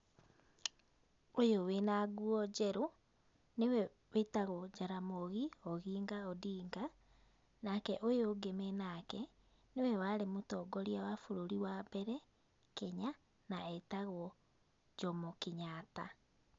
Ũyũ wĩ na nguo njerũ, nĩ we wĩtagwo Jaramogi Oginga Odinga, nake ũyũ ũngĩ me nake, nĩwe warĩ mũtongoria wa bũrũri wa mbere ,Kenya, na etagwo Jomo Kenyatta.